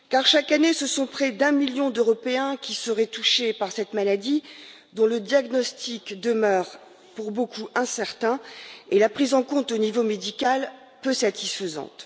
Chaque année, ce sont près d'un million d'Européens qui seraient touchés par cette maladie, dont le diagnostic demeure, pour beaucoup, incertain et la prise en compte au niveau médical peu satisfaisante.